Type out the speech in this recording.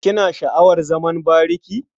Kina sha'awar zaman bariki?